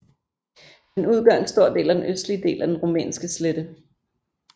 Den udgør en stor del af den østlige del af den Rumænske slette